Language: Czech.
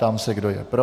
Ptám se, kdo je pro.